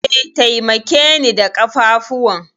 E, taimakeni da ƙafafuwan.